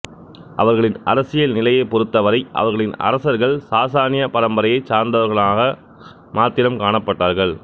அவர்களின் அரசியல் நிலையை பொருத்தவரை அவர்களின் அரசர்கள் சாசானிய பரம்பரையைச் சாசர்ந்தவர்கனாக மாத்திரம் காணப்பட்டார்கள்